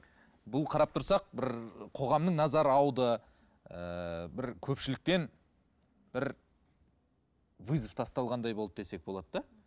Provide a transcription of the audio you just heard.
бұл қарап тұрсақ бір қоғамның назары ауды ыыы бір көпшіліктен бір вызов тасталғандай болды десек болады да